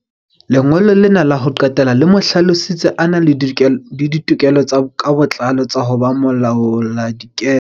Lengolo lena la ho qetela le mo hlalositse a na le ditokelo ka botlalo tsa ho ba molaoladikepe.